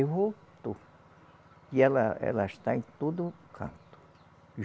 Voltou e ela ela está em todo o canto.